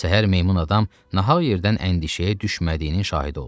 Səhər meymun adam nahaq yerdən əndişəyə düşmədiyinin şahidi oldu.